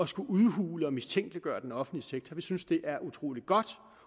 skulle udhule og mistænkeliggøre den offentlige sektor vi synes det er utrolig godt